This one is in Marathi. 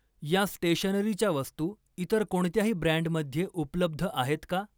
या स्टेशनरीच्या वस्तू इतर कोणत्याही ब्रँडमध्ये उपलब्ध आहेत का?